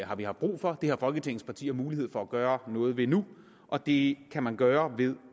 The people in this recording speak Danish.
har vi haft brug for det har folketingets partier mulighed for at gøre noget ved nu og det kan man gøre ved